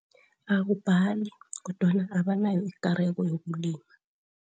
Akubhali kodwana abanayo ikareko yokulima.